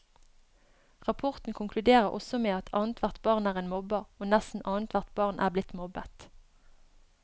Rapporten konkluderer også med at annethvert barn er en mobber, og nesten annethvert barn er blitt mobbet.